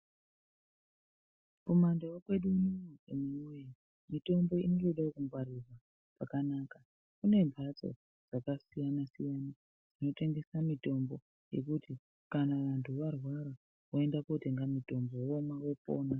Kumandau kwedu unono anhuwee , mitombo inotodawo kungwarirwawo pakanaka. Kune mphatso dzakasiyana-siyana, dzinotengesa mitombo, yekuti kana vantu varwara, voenda kootenga mitombo, vomwa, vopona.